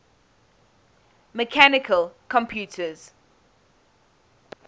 mechanical computers